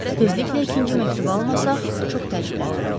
Tezliklə ikinci məktubu almasaq, çox təəccüblənərəm.